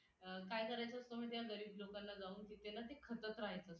अं काय करायचं असत माहीत आहे का? गरीब लोकांना जाऊन तिथे ना ते खणत राहायचं.